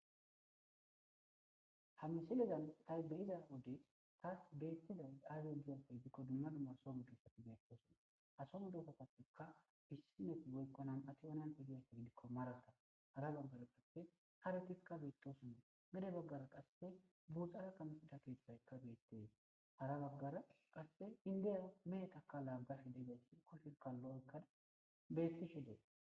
Hamisidezan taybeyiza wode taas beettiza aaze ju7ofe gidikko dumma dummar somudessati beepoosuna asomu dokoppaptekka issinefi goykkonam ati onan idiyayta gidikko marata hara baggara qasse aretikka beettosunna mede baggara qasse buuxara kamesida keeththaykka beettees hara baggara qasse indiya meetaka laaggar idegeysi qohikallo ekkan bettishe dee.